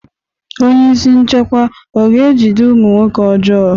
Onyeisi nchekwa ọ ga-ejide ụmụ nwoke ọjọọ?